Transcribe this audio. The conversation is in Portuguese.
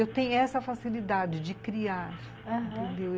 Eu tenho essa facilidade de criar, entendeu? aham.